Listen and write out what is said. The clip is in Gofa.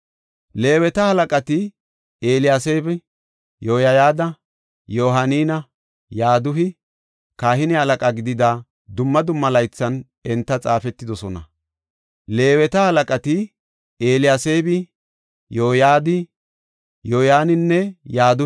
Leeweta halaqati Eliyaseebi, Yoyada, Yohaaninne Yadu7i kahine halaqa gidida dumma dumma laythan enti xaafetidosona. He mazgabey giigiday Farse biitta kawa Daariyosa laythana.